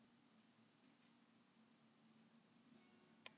Heiðrós, hvaða leikir eru í kvöld?